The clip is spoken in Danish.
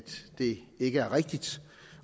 det ikke er rigtigt